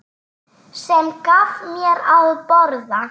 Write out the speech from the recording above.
Sem gaf mér að borða.